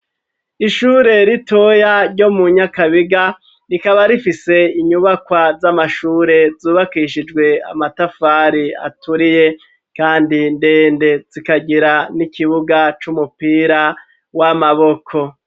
Ishure ritoya ryo mu nyakabiga rikaba rifise inyubakwa z'amashure zubakishijwe amatafari aturiye kandi ndende, zikagira n'ikibuga c'umupira w'amaboko.